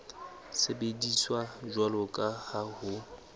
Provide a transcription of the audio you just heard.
sebediswa jwalo ka ha ho